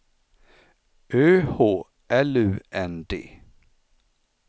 Ö H L U N D